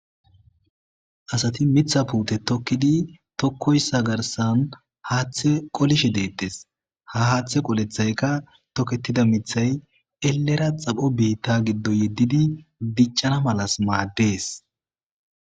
Asati mitha puute tokkidi tokkoyssa garsan haaththe qolishe deettes ha haaththe qolethayka tokketida mithay elera xapho biitta giddo yeddidi diccana malas maaddees.